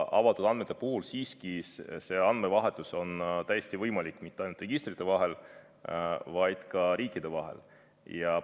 Avatud andmete puhul on andmevahetus täiesti võimalik mitte ainult registrite vahel, vaid ka riikide vahel.